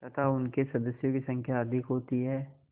तथा उनके सदस्यों की संख्या अधिक होती है